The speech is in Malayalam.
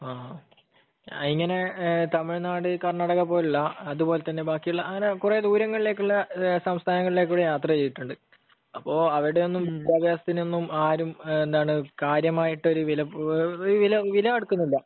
ങ്ഹാ. ഞാനിങ്ങനെ തമിഴ്‌നാട്, കർണാടക പോലുള്ള അതുപോലെതന്നെ ബാക്കിയുള്ള അങ്ങനെ കുറെ ദൂരങ്ങളിലേക്കുള്ള സംസ്ഥാനങ്ങളിൽ കൂടി യാത്ര ചെയ്തിട്ടുണ്ട്. അപ്പൊ അവിടെയൊന്നും വിദ്യാഭ്യാസത്തിനൊന്നും ആരും എന്താണ് കാര്യമായിട്ടൊരു വില, എന്താണ്, ഒരു വില കൊടുക്കുന്നില്ല.